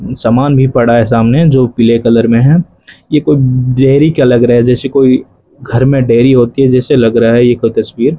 सामान भी पड़ा है सामने जो पीले कलर में है यह कोई डेयरी का लग रहा है जैसे कोई घर में डेयरी होती है जैसे लग रहा है यह कोई तस्वीर --